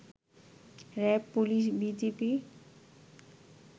RAB, police, BGB